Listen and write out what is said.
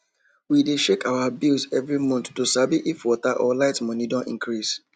we dey check our bills every month to sabi if water or light money don increase